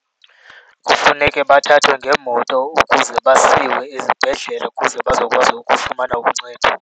Kufuneke bathathwe ngeemoto ukuze basiwe ezibhedlele ukuze bazokwazi ukufumana uncedo.